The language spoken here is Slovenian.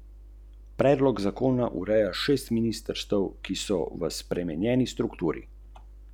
Povedal je, da se je nekega dne zbudil in pomislil: "Dvajseta leta so zelo formativna, kajne?